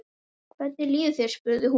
Hvernig líður þér? spurði hún.